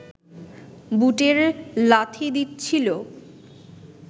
বুটের লাথি দিচ্ছিল